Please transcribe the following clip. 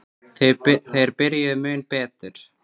Þeir byrjuðu mun betur.